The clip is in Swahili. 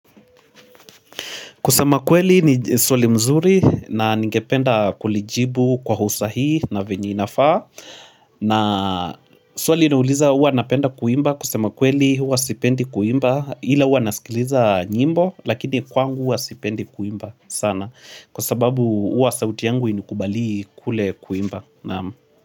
Kusema kweli ni swali mzuri na ningependa kulijibu kwa usa hihi na venyeina faa na swali inauliza huwa napenda kuimba kusema kweli huwa sipendi kuimba ila huwa nasikiliza nyimbo lakini kwangu huwa sipendi kuimba sana kwa sababu huwa sauti yangu hainikubalii kule kuimba.